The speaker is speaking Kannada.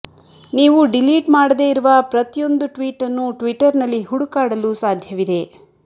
ನೀವು ಡಿಲೀಟ್ ಮಾಡದೇ ಇರುವ ಪ್ರತಿಯೊಂದು ಟ್ವೀಟ್ ನ್ನು ಟ್ವಿಟ್ಟರ್ ನಲ್ಲಿ ಹುಡುಕಾಡಲು ಸಾಧ್ಯವಿದೆ